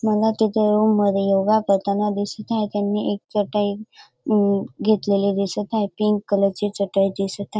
मुल तिथे रूम मध्ये योगा करताना दिसत आहे त्यांनी एक चटई अ घेतलेली दिसत आहे पिंक कलर ची चटई दिसत हा--